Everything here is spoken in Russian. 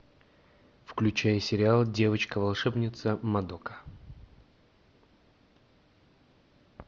включай сериал девочка волшебница мадока